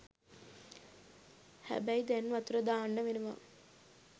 හැබැයි දැන් වතුර දාන්න වෙනවා